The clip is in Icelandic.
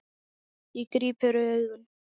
Ég gríp fyrir augun.